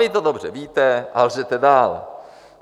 Vy to dobře víte a lžete dál.